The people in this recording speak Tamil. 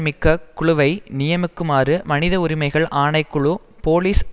மிக்க குழுவை நியமிக்குமாறு மனித உரிமைகள் ஆணை குழு போலிஸ்